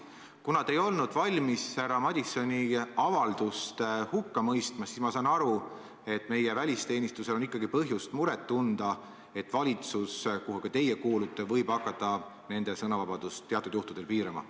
Kuna te ei olnud valmis härra Madisoni avaldust hukka mõistma, siis ma saan aru, et meie välisteenistusel on ikkagi põhjust muret tunda, et valitsus, kuhu ka teie kuulute, võib hakata nende sõnavabadust teatud juhtudel piirama.